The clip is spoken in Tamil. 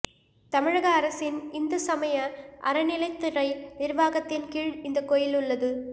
தமிழக அரசின் இந்து சமய அறநிலையத்துறை நிர்வாகத்தின் கீழ் இந்த கோயில் உள்ளது